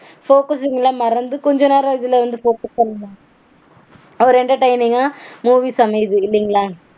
Focusing -லாம் மறந்து கொஞ்ச நேரம் இதுல வந்து focus பண்ணி ஒரு entertaining -ஆ movies அமையுது இல்லீங்களா